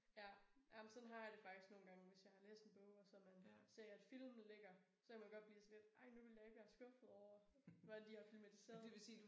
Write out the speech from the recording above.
Ja ja men sådan har jeg det faktisk nogle gange hvis jeg har læst en bog og så man ser at filmen ligger så kan man godt blive sådan lidt ej nu vil jeg ikke blive skuffet over hvad de har filmatiseret